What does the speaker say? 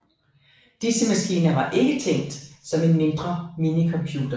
Disse maskiner var ikke tænkt som en mindre minicomputer